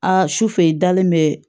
A su fɛ i dalen bɛ